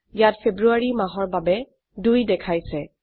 ইয়াত ফেব্ৰুয়াৰী মাহৰ বাবে ২ দেখাইছে